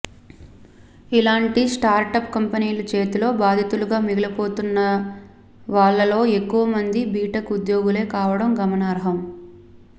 ఇలాంటి స్టార్టప్ కంపెనీల చేతిలో బాధితులుగా మిగిలిపోతున్నవాళ్లలో ఎక్కువ మంది బీటెక్ ఉద్యోగులే కావడం గమనార్హం